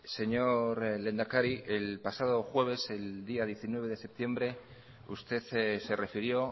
señor lehendakari el pasado jueves el día diecinueve de septiembre usted se refirió